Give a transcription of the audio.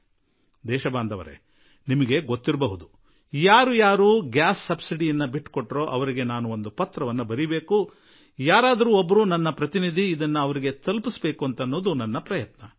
ದೇಶವಾಸಿಗಳೇ ಯಾರು ಯಾರು ಅನಿಲ ಸಬ್ಸಿಡಿ ಬಿಟ್ಟುಕೊಟ್ಟರೋ ಅವರಿಗೆ ಒಂದು ಪತ್ರ ಕಳುಹಿಸುವ ಹಾಗೂ ನನ್ನ ಯಾರಾದರೂ ಪ್ರತಿನಿಧಿಯೊಬ್ಬರು ಆ ಪತ್ರವನ್ನು ಖುದ್ದಾಗಿ ಅವರಿಗೆ ತಲುಪಿಸಬೇಕು ಎಂಬ ಪ್ರಯತ್ನ ನಾನು ಮಾಡಿದೆ